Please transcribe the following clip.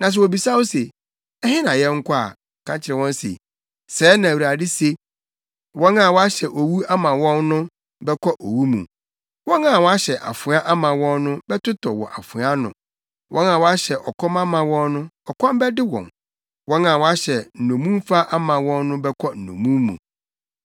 Na sɛ wobisa wo se, ‘Ɛhe na yɛnkɔ’ a, ka kyerɛ wɔn se, ‘Sɛɛ na Awurade se: “ ‘Wɔn a wɔahyɛ owu ama wɔn no, bɛkɔ owu mu; wɔn a wɔahyɛ afoa ama wɔn no bɛtotɔ wɔ afoa ano; wɔn a wɔahyɛ ɔkɔm ama wɔn no, ɔkɔm bɛde wɔn; wɔn a wɔahyɛ nnommumfa ama wɔn no bɛkɔ nnommum mu.’